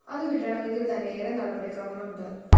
അതു കിട്ടണമെങ്കില്‍ത്തന്നെ ഏറെ നടപടിക്രമങ്ങളമുണ്ട്